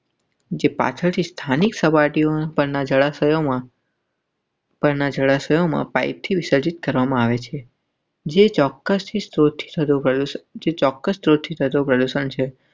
જે પાછળથી સ્થાનિક સપાટી પરના જળાશયોમાંના જળાશયોમાં પાઈપથી વિસર્જિત કરવામાં આવે છે. જે ચોક્કસ ચોક્કસ.